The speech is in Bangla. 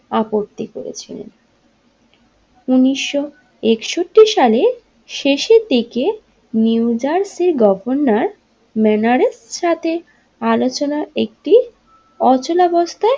আপত্তি করেছিলেন উনিশশো একষট্টি সালে শেষের দিকে নিউ জার্সি এর গভর্নর ম্যানারের সাথে আলোচনা একটি অচলবস্থায়।